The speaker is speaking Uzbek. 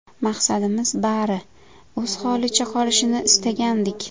Maqsadimiz, bari o‘z holicha qolishini istagandik.